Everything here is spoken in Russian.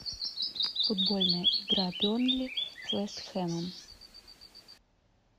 футбольная игра бернли с вест хэмом